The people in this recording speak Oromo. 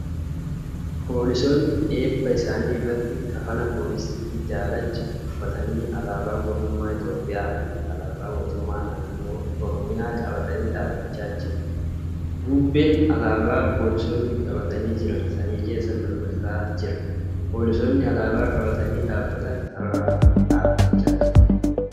Poolisoonni eebba isaanii irratti kafana poolisii daalacha uuffatanii alaabaa mootummaa Itiyoophiyaa fi alaabaa mootummaa naannoo Oromiyaa qabatanii dhaabbachaa jiru. Bubbeen alaabaa poolisoonni qabatanii jiran samii keessa mirmirsaa jiru. Poolisoonni alaabaa qabatanii dhaabbatan sarara irra dhaabachaa jiru.